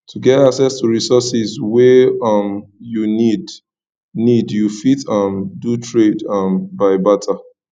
to get access to resources wey um you need need you fit um do trade um by barter